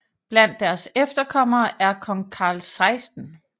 Blandt deres efterkommere er kong Carl 16